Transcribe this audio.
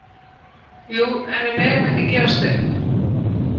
Jú, en við megum ekki gefast upp